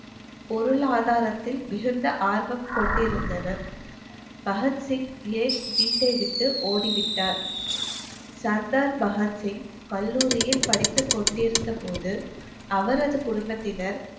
பொருளாதாரத்தில் மிகுந்த ஆர்வம் கொண்டிருந்தனர் பகத்சிங் ஏன் வீட்டை விட்டு ஓடி விட்டார் சர்தார் பகத்சிங் கல்லூரியில் படித்துக் கொண்டிருந்த போது அவரது குடும்பத்தினர்